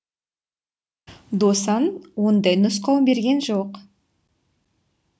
досан ондай нұсқау берген жоқ